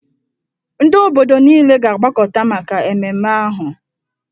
Ndị obodo niile ga-agbakọta maka ememme ahụ.